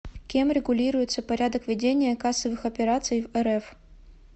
кем регулируется порядок ведения кассовых операций в рф